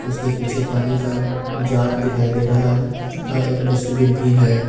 उसके पीछे पानी का जार दिखाई दे रहा है तथा एक डस्टबिन भी है।